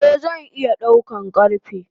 Eh zan iya daukan karfe.